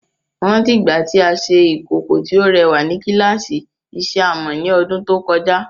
Mo rántí ìgbà tí a ṣe ìkòkò tí ó rẹwà ní kíláàsì ìṣe amọ̀ ní ọdún tó kọjá.